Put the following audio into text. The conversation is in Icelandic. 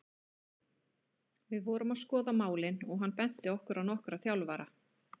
Við vorum að skoða málin og hann benti okkur á nokkra þjálfara.